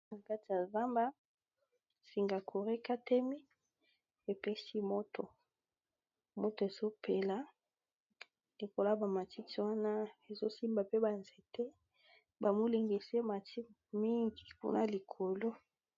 Na kati ya zamba singa courant e katani, e pesi moto, moto ezo pela likolo ya ba matiti wana, ezo simba pe ba nzete, ba molinga esi e mati mingi kuna likolo .